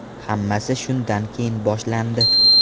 Hammasi shundan keyin boshlandi.